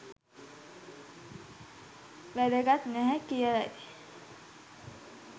වැදගත් නැහැ කියලයි